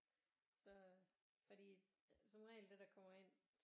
Så fordi at som regel det der kommer ind